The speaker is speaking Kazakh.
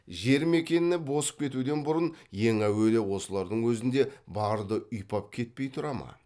жер мекеніне босып кетуден бұрын ең әуелі осылардың өзінде барды ұйпап кетпей тұра ма